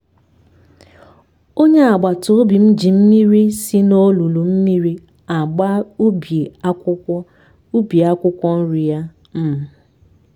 onye agbata obim ji mmiri si na n'olulu mmiri agba ubi akwụkwọ ubi akwụkwọ nri ya um